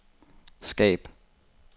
skab